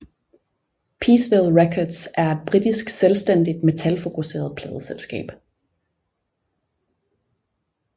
Peaceville Records er et britisk selvstændigt metalfokuseret pladeselskab